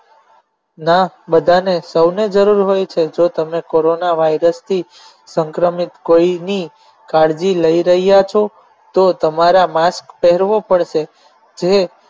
ના બધાને સૌને જરૂર હોય છે જો તમે કોરોના વાયરસથી સંક્રમિત કોઈની કાળજી લઈ રહ્યા છો તો તમારા mask પહેરવો પડશે જે